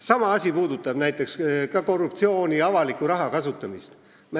Sama asi puudutab ka korruptsiooni ja avaliku raha kasutamist.